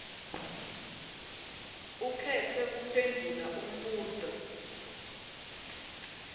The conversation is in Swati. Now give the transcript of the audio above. ukhetse kuphendvula umbuto